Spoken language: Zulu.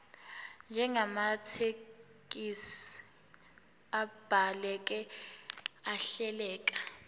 njengamathekisthi abhaleke ahleleka